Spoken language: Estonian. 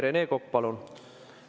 Rene Kokk, palun!